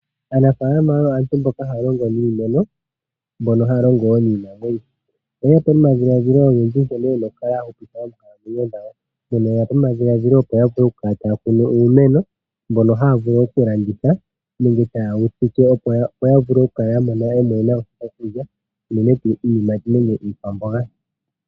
Aanafaalama oyo aantu mboka ha ya longo niimeno, osho wo niinamwenyo, oye ya po nomadhiladhilo nkene ye na oku ksla ya hupitha oonkalamwenyo dhawo. Mpono ye yapo nomadhiladhilo opo ya vule oku kala ta ya kunu uumeno mbono haa vulu oku landitha, unene tuu iikwamboga.